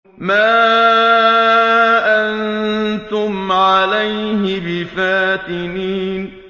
مَا أَنتُمْ عَلَيْهِ بِفَاتِنِينَ